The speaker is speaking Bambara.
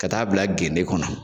Ka t'a bila genne kɔnɔ.